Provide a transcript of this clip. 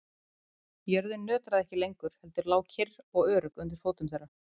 Jörðin nötraði ekki lengur heldur lá kyrr og örugg undir fótum þeirra.